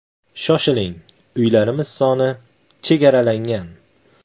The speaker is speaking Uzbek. Shoshiling uylarimiz soni chegaralangan.